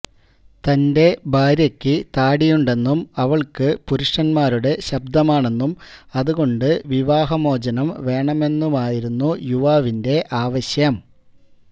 തന്റെ ഭാര്യയ്ക്ക് താടിയുണ്ടെന്നും അവൾക്ക് പുരുഷന്മാരുടെ ശബ്ദമാണെന്നും അതുകൊണ്ട് വിവാഹമോചനം വേണമെന്നുമായിരുന്നു യുവാവിന്റെ ആവശ്യം